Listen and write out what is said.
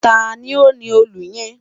Tani o ni òòlù yẹn?